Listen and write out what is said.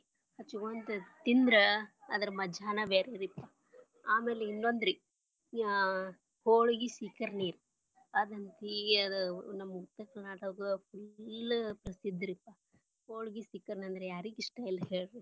ಹಚಗೊಂತ ತಿಂದ್ರ ಅದರ ಮಜಾನ ಬೇರೆರಿಪಾ ಆಮ್ಯಾಲ ಇನ್ನೊಂದ ರೀ ಅಹ್ ಹೊಲ್ಗಿ ಸೀಕರ್ಣಿ ಅದಂತಿ ಅದ ನಮ್ಮ Uttara Karnataka full ಪ್ರಸಿದ್ಧರಿಪಾ ಹೊಳಗಿ ಸೀಕರ್ಣಿ ಅಂದ್ರ ಯಾರಿಗ ಇಷ್ಟ ಇಲ್ಲಾ ಹೇಳರಿ.